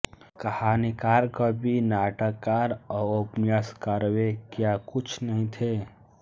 कहानीकार कवि नाटककार और उपन्यासकारवे क्या कुछ नहीं थे